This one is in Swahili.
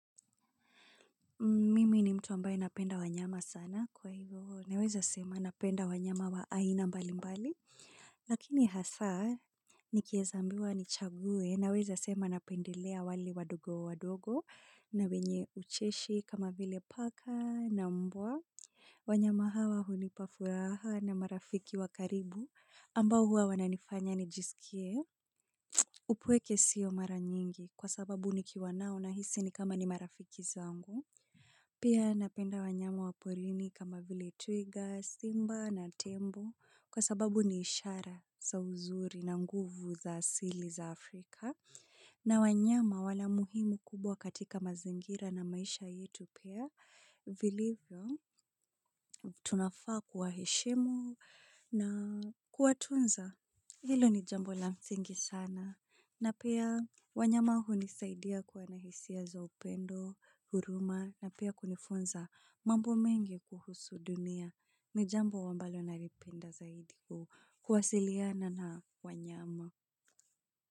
Mimi ni mtu ambaye napenda wanyama sana kwa hivyo, naweza sema napenda wanyama wa aina mbali mbali, lakini hasa nikieza ambiwa nichague, naweza sema napendelea walio wadogo wadogo na wenye ucheshi kama vile paka na mbwa, wanyama hawa hunipa furaha na marafiki wa karibu ambao huwa wananifanya nijisikie, upweke siyo mara nyingi kwa sababu nikiwa nao nahisi ni kama ni marafiki zangu. Pia napenda wanyama wa polini kama vile twiga, simba na tembo kwa sababu ni ishara za uzuri na nguvu za asili za Afrika. Na wanyama wana muhimu kubwa katika mazingira na maisha yetu pia. Vilivyo tunafaa kuwaheshimu na kuwatunza. Hilo ni jambo la msingi sana na pia wanyama hunisaidia kuwa na hisia za upendo, huruma na pia kunifunza mambo mengi kuhusu dunia ni jambo ambalo nalipenda zaidi kuwasiliana na wanyama.